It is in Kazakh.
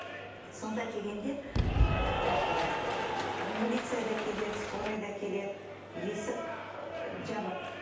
сонда келгенде это милиция да келеді скорый да келеді есік жабық